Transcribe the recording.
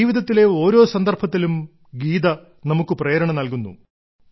ജീവിതത്തിലെ ഓരോ സന്ദർഭങ്ങളിലും ഗീത നമുക്ക് പ്രേരണ നൽകുന്നു